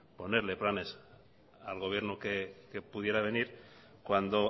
ponerle planes al gobierno que pudiera venir cuando